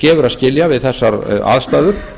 gefur að skilja við þessar aðstæður